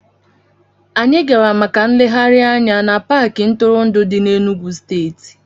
Anyị gara maka nlegharị anya n'Paakị ntụrụndụ dị n'Enugwu steeti